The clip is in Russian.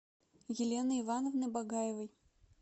елены ивановны багаевой